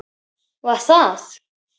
Var það